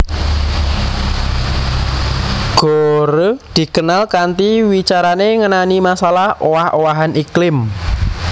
Gore dikenal kanthi wicarané ngenani masalah owah owahan iklim